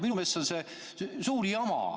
Minu meelest on see suur jama.